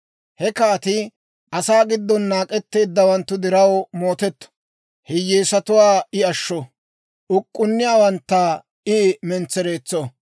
He kaatii asaa giddon naak'etteeddawanttu diraw mootetto; hiyyeesatuwaa I ashsho; uk'k'unniyaawantta I mentsereetso.